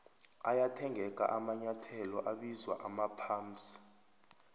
ayathengeka amanyethelo abizwa amaphamsi